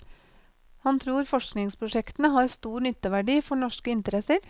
Han tror forskningsprosjektene har stor nytteverdi for norske interesser.